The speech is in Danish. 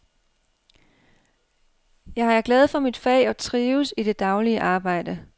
Jeg er glad for mit fag og trives i det daglige arbejde.